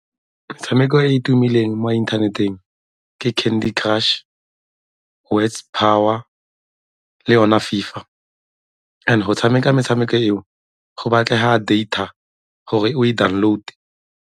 Metshameko e e tumileng mo inthaneteng ke Candy Crush, Words Power le yone FIFA. And go tshameka metshameko eo go batlega data gore o e download.